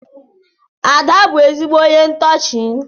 Ada bu ezigbo ónyé ntoochi.